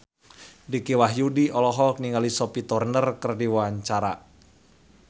Dicky Wahyudi olohok ningali Sophie Turner keur diwawancara